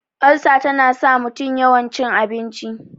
ulsa tana sa mutum yawan cin abinci